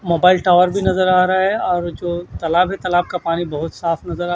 mobile tower भी नजर आ रहा है और जो तलाब है तलाब का पानी बहोत साफ नजर आ--